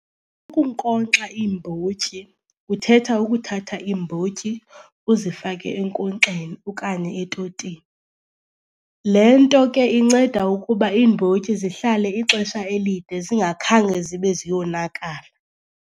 Ukunkonkxa iimbotyi kuthetha ukuthatha iimbotyi uzifake enkonkxeni okanye etotini. Le nto ke inceda ukuba iimbotyi zihlale ixesha elide zingakhange zibe ziyonakala.